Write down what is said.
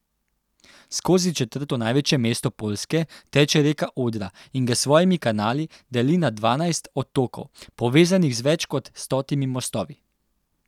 Skozi četrto največje mesto Poljske teče reka Odra in ga s svojimi kanali deli na dvanajst otokov, povezanih z več kot stotimi mostovi.